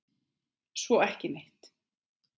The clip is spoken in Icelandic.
Svo ekki neitt.